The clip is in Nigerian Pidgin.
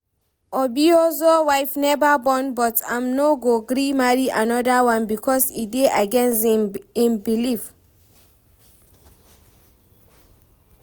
Obiozor wife never born but im no gree marry another one because e dey against im belief